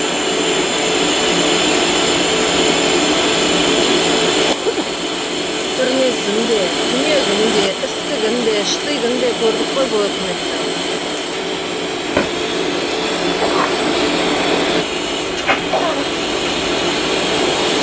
түрмесін де түнегін де істігін де штыгін де көрдік қой бұл өкіметтің